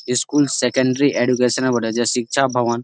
school secondary education বটে যে শিক্ষা ভগবান--